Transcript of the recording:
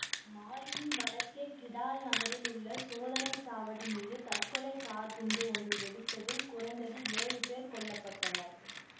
மாலியின் வடக்கே கிடால் நகரில் உள்ள சோதனை சாவடி மீது தற்கொலை கார்க் குண்டு ஒன்று வெடித்ததில் குறைந்தது ஏழு பேர் கொல்ல பட்டனர்